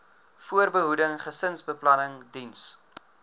voorbehoeding gesinsbeplanning diens